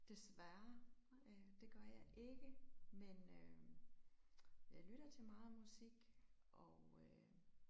Desværre det gør jeg ikke men øh. Jeg lytter til meget musik og øh